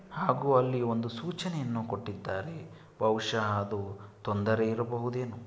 ಹಾಗೂ ಇಲ್ಲಿ ಒಂದು ಸುಚನೆಯನ್ನು ಕೊಟ್ಟಿದಾರೆ ಬಹುಶಃ ಅದು ತೊಂದರೆ ಇರಬಹುದೆನೊ .